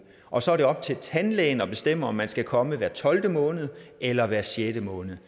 og så er det op til tandlægen at bestemme om man skal komme hver tolvte måned eller hver sjette måned